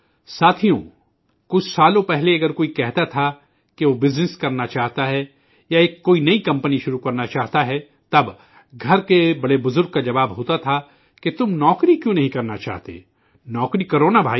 ساتھیو، کچھ برسوں قبل اگر کوئی کہتا تھا کہ وہ کاروبار کرنا چاہتا ہے یا ایک کوئی نہیں کمپنی شروع کرنا چاہتا ہے، تب کنبے کے بڑے بزرگ کا جواب ہوتا تھا کہ ''تم نوکری کیوں نہیں کرنا چاہتے، نوکری کرو نا بھائی